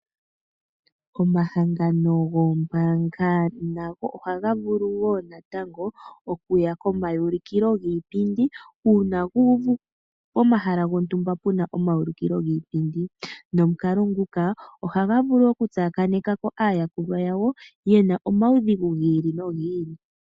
Omahangano goombaanga nago ohaga vulu woo natango okuya komaulikilo giipindi, uuna guuvu pomahala gontumba puna omaulikilo giipindi. Nomukalo nguka ohaga vulu oku tsakaneka ko aayakulwa yawo yena omaudhigu giili nogiili.